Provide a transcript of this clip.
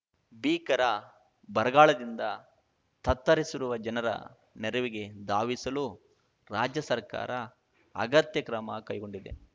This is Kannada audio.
ಭೀಕರ ಬರಗಾಲದಿಂದ ತತ್ತರಿಸಿರುವ ಜನರ ನೆರವಿಗೆ ಧಾವಿಸಲು ರಾಜ್ಯ ಸರ್ಕಾರ ಅಗತ್ಯ ಕ್ರಮ ಕೈಗೊಂಡಿದೆ